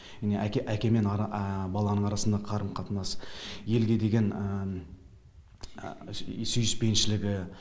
міне әке әке мен баланың арасындағы қарым қатынас елге деген сүйіспеншілігі